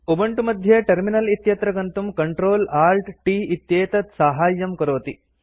Ubuntu मध्ये terminal इत्यत्र गन्तुं CtrlAltT इत्येतत् साहाय्यं करोति